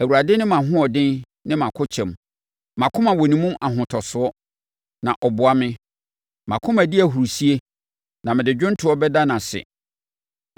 Awurade ne mʼahoɔden ne mʼakokyɛm; mʼakoma wɔ ne mu ahotosoɔ, na ɔboa me. Mʼakoma di ahurisie na mede dwomtoɔ bɛda no ase.